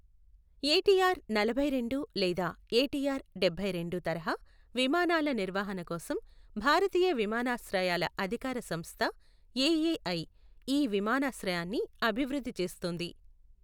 ATR నలభై రెండు లేదా ఏటీఆర్ డెబ్బై రెండు తరహా విమానాల నిర్వహణ కోసం భారతీయ విమానాశ్రయాల అధికార సంస్థ, ఏఏఐ, ఈ విమానాశ్రయాన్ని అభివృద్ధి చేస్తోంది.